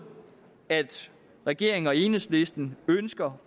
at regeringen og enhedslisten ønsker